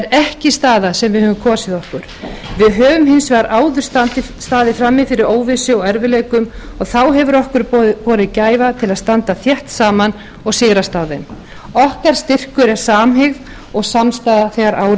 er ekki staða sem við höfum kosið okkur við höfum hins vegar áður staðið frammi fyrir óvissu og erfiðleikum og þá hefur okkur borið gæfa til að standa þétt saman og sigrast á þeim okkar styrkur er samhygð og samstaða þegar